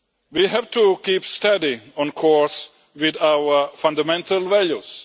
We have to keep steady on course with our fundamental values.